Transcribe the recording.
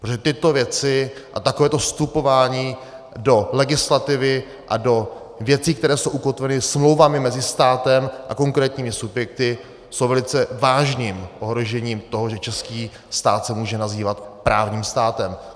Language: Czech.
Protože tyto věci a takovéto vstupování do legislativy a do věcí, které jsou ukotveny smlouvami mezi státem a konkrétními subjekty, jsou velice vážným ohrožením toho, že český stát se může nazývat právním státem.